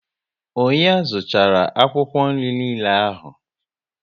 Ọnyá zuchara akwụkwọ nri niile ahụ?